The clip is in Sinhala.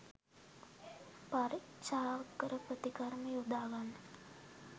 පරීක්‌ෂාකර ප්‍රතිකර්ම යොදා ගන්න